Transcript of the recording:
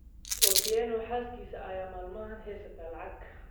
Otieno xaaskisa ayaa maalmahaan hesataa lacag